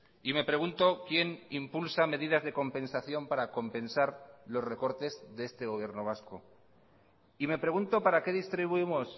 y me pregunto quién impulsa medidas de compensación para compensar los recortes de este gobierno vasco y me pregunto para qué distribuimos